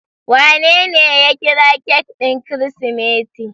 Wanene ya kira cake ɗin Kirsimeti?